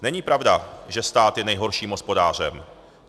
Není pravda, že stát je nejhorším hospodářem.